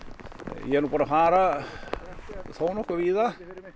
ég er nú búinn að fara þónokkuð víða